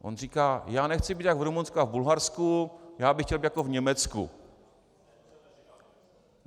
On říká - já nechci být jak v Rumunsku a v Bulharsku, já bych chtěl být jako v Německu.